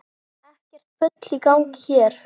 Ekkert bull í gangi hér!